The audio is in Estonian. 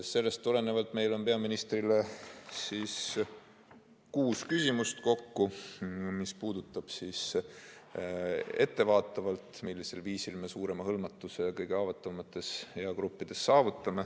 Sellest tulenevalt on meil peaministrile kokku kuus küsimust, mis puudutavad ettevaatavalt seda, millisel viisil me saavutame suurema hõlmatuse kõige haavatavamates gruppides.